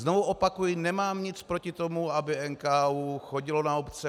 Znovu opakuji, nemám nic proti tomu, aby NKÚ chodil na obce.